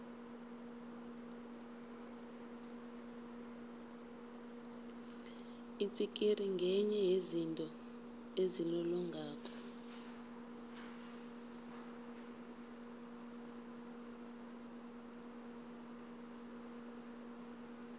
itsikiri ngenye yezinto ezilolongako